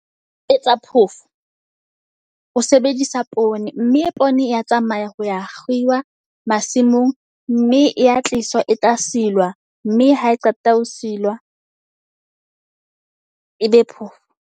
Ho etsa phoofo ho sebedisa poone. Mme e poone ya tsamaya ho ya kgiwa masimong, mme ya tliswa e tla silwa. Mme ha e qeta ho silwa ebe phoofo.